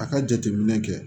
A ka jateminɛ kɛ